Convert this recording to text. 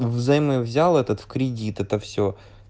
взаймы взял этот в кредит это все